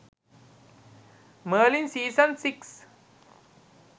merlin season 6